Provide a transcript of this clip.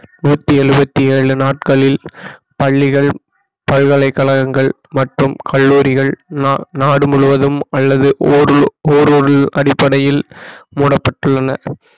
நூற்றி எழுபத்தி ஏழு நாட்களில் பள்ளிகள் பல்கலைக்கழகங்கள் மற்றும் கல்லூரிகள் நா~நாடு முழுவதும் அல்லது அடிப்படையில் மூடப்பட்டுள்ளன